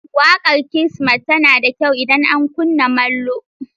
Waƙar Kirsimeti tana da kyau idan ana kunna molo.